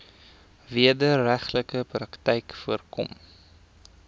wederregtelike praktyke voorkom